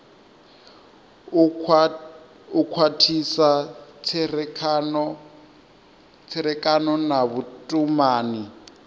u khwathisa tserekano na vhutumani